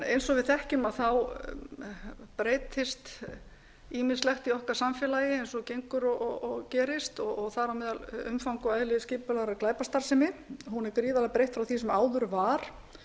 eins og við þekkjum breytist ýmislegt í okkar samfélagi eins og gengur og gerist og þar á meðal umfang og eðli skipulagðrar glæpastarfsemi hún er gríðarlega breytt frá því sem áður var